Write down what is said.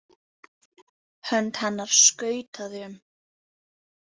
Hönd hennar skautaði um.